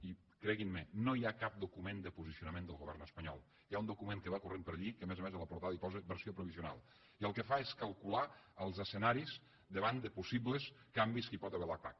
i creguin me no hi ha cap document de posicionament del govern espanyol hi ha un document que va corrent per allí que a més a més en la portada hi posa versió provisional i el que fa és calcular els escenaris davant de possibles canvis que hi pot haver a la pac